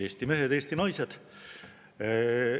Eesti mehed, Eesti naised!